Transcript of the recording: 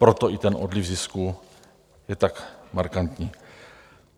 Proto i ten odliv zisků je tak markantní.